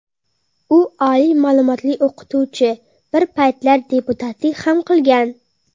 U oliy ma’lumotli o‘qituvchi, bir paytlar deputatlik ham qilgan.